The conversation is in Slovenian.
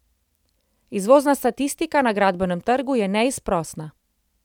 Izvozna statistika na gradbenem trgu je neizprosna.